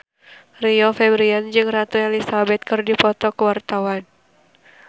Rio Febrian jeung Ratu Elizabeth keur dipoto ku wartawan